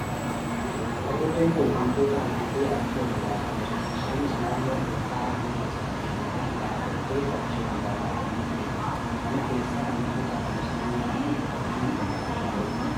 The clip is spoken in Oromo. Hadurreen kun hantuuta argitee achii ol ilaalaa jirti. Isheenis naannoo ol ka'aa mana keessatti argamu irra dhaabattee achii ol ilaalaa kan jirtudha. Mana keessaa hantuuta adamsitee nyaachuun qabeenya balaa irraa eegdi.